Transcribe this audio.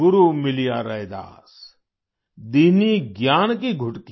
गुरु मिलिया रैदास दीन्हीं ज्ञान की गुटकी